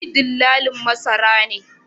Ni dillalin masara ne